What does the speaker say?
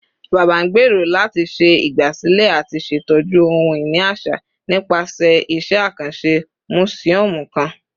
Baba ngbero lati ṣe igbasilẹ ati ṣetọju ohun-ini aṣa nipasẹ iṣẹ akanṣe musiọmu kan